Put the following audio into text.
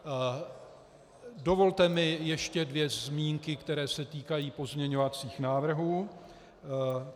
Dovolte mi ještě dvě zmínky, které se týkají pozměňovacích návrhů.